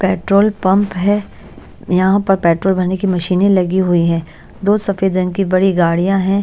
Petrol pump है यहाँ पर पेट्रोल भरने की मशीनें लगी हुई हैं दो सफेद रंग की बड़ी गाड़ियां हैं।